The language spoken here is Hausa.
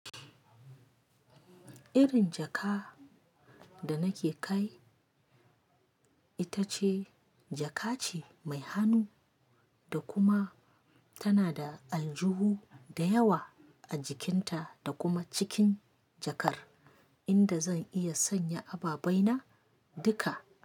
Irin jaka da nake kai ita ce jaka ce mai hannu da kuma tana da aljuhu da yawa a jikinta da kuma cikin jakar inda zan iya sanya ababaina duka.